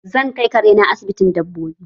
Zan kai kare na asibitin dabbobi